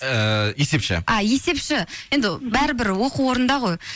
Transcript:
ыыы есепші а есепші енді бәрібір оқу орнында ғой